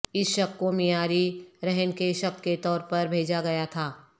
اس شق کو معیاری رہن کے شق کے طور پر بھیجا گیا تھا